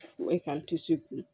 E ka